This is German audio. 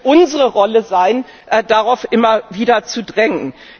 Es wird unsere Rolle sein, darauf immer wieder zu drängen.